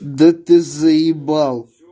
да ты заебал